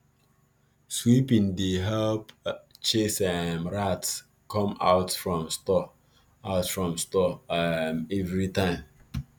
sweeping dey help chase um rat come out from store out from store um every time